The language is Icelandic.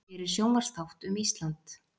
Gerir sjónvarpsþátt um Ísland